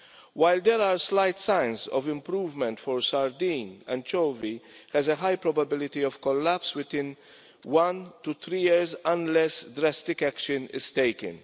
While there are slight signs of improvement for sardine, anchovy has a high probability of collapse within one to three years unless drastic action is taken.